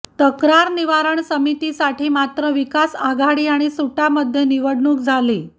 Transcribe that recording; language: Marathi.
तक्रार निवारण समितीसाठी मात्र विकास आघाडी आणि सुटामध्ये निवडणुक झाली